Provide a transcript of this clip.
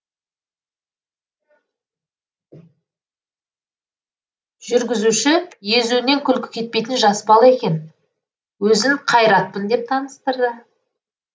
жүргізуші езуінен күлкі кетпейтін жас бала екен өзін қайратпын деп таныстырды